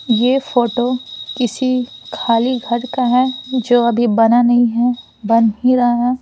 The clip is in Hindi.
यह फोटो किसी खाली घर का है जो अभी बना नहीं है बन ही रहा--